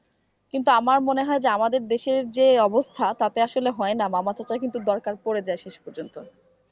কিন্তু আমার মনে যে হয় আমাদের দেশের যে অবস্থা তাতে আসলে হয় না মামা চাচা কিন্তু দরকার পড়ে যায় শেষ পর্যন্ত।